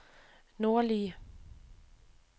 nordlige